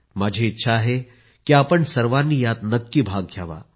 माझी इच्छा आहे की आपण सर्वांनी यात नक्की भाग घ्यावा